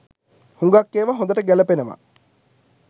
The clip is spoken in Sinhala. හුඟක් ඒවා හොඳට ගැලපෙනව.